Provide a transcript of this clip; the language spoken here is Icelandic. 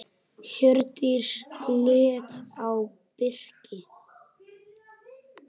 Hjördís leit á Birki.